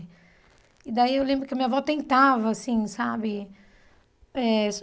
E daí eu lembro que a minha avó tentava, assim, sabe eh?